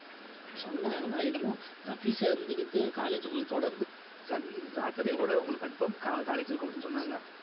சொன்னாங்களா என்னமோ ரவி sir இருந்துகிட்டு college உங்களுக்கு தொடர்ந்து sun~ saturday கூட உங்களுக்கு conform co~ college இருக்கும் அப்படின்னு சொன்னாங்க